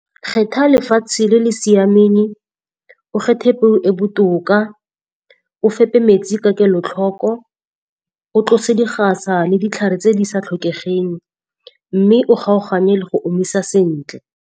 Kgetha lefatshe le le siameng, o kgethe peo e botoka, o fepe metsi ka kelotlhoko, o tlose digasa le ditlhare tse di sa tlhokegeng, mme o kgaogane le go omisa sentle.